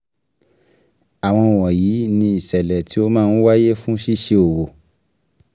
Àwọn wọ̀nyí ni ìṣẹ̀lẹ̀ tí ó máa ń wáyé fún ṣíṣe òwò.